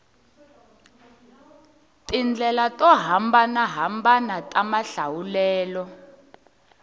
tindlela to hambanahambana ta mahlawulelo